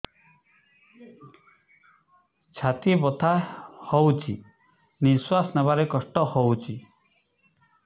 ଛାତି ବଥା ହଉଚି ନିଶ୍ୱାସ ନେବାରେ କଷ୍ଟ ହଉଚି